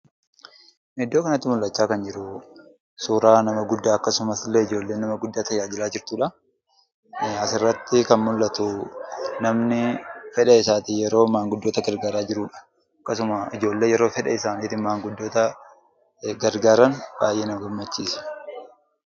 Iddoo kanatti mul'achaa kan jiru, suuraa nama guddaa akkasumas illee ijoollee nama guddaa ta'ee jira jechuudha. Asirratti kan mul'atu, namni fedha isaatiin yeroo maanguddoota gargaaraa jirudha. Akkasuma, ijoolleen fedha isaaniitiin yeroo maanguddoota gargaaran baay'ee nama gammachiisa.